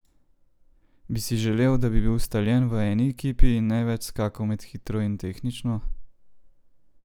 Bi si želel, da bi bil ustaljen v eni ekipi in ne več skakal med hitro in tehnično?